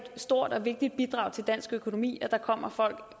stort og vigtigt bidrag til dansk økonomi at der kommer folk